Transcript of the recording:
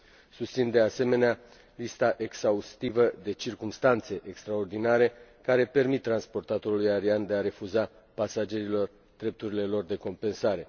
Susțin, de asemenea, lista exhaustivă de circumstanțe extraordinare care permit transportatorului aerian să refuze pasagerilor drepturile lor de compensare.